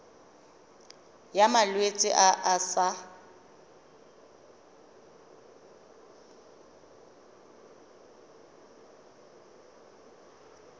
ya malwetse a a sa